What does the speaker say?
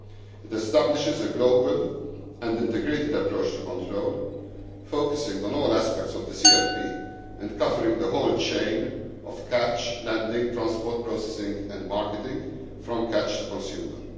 It establishes a global and integrated approach to control, focusing on all aspects of the CFP and covering the whole chain of catch, landing, transport, processing and marketing from catch to consumer'.